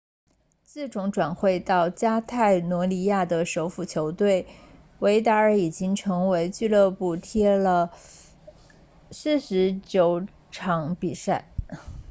自从转会到加泰罗尼亚的首府球队维达尔已经为俱乐部踢了49场比赛